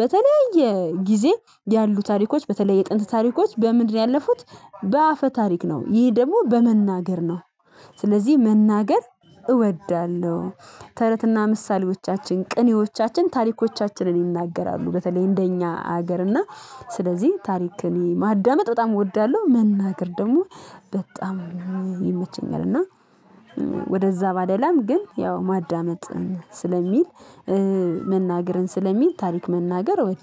በተለያየ ጊዜ ያሉ ታሪኮች በተለይ የጥንት ታሪኮች በምንድነው? ያለፉት በአፈ ታሪክ ነው ይሄ ደግሞ በመናገር ነው። ስለዚህ መናገር እወዳለሁ። ተረትና ምሳሌዎቻችን ቅኔዎቻችን ታሪኮቻችንን ይናገራሉ በተለይ እንደኛ ሀገርና ስለዚህ ታሪክን ማዳመጥ በጣም እወዳለሁ መናገር ደግሞ በጣም ይመቸኛል። እና ወደዛ ባደላም ግን ያው ማዳመጥ ስለሚል መናገርን ስለሚል ታሪክ መናገር እወዳለሁ